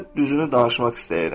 Sənə düzünü danışmaq istəyirəm.